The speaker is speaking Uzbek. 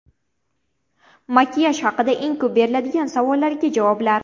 Makiyaj haqida eng ko‘p beriladigan savollarga javoblar.